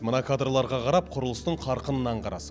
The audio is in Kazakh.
мына кадрларға қарап құрылыстың қарқынын аңғарасың